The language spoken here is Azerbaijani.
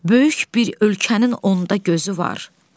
Böyük bir ölkənin onda gözü var.